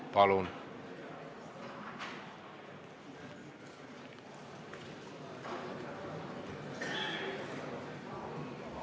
Palun!